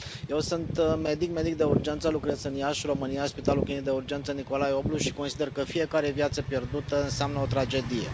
Eu sunt medic, medic de urgență, lucrez în Iași, România, la Spitalul Clinic de Urgență Nicolae Oblu și consider că fiecare viață pierdută înseamnă o tragedie.